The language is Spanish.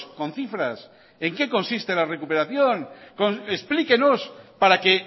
con cifras en qué consiste la recuperación explíquenos para que